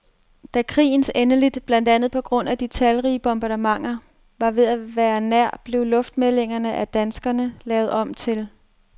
Da krigens endeligt, blandt andet på grund af de talrige bombardementer, var ved at være nær, blev luftmeldingerne af danskerne lavet om til.